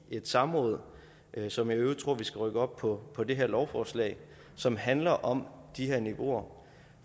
et samråd som jeg i øvrigt tror vi skal rykke op på på det her lovforslag som handler om de her niveauer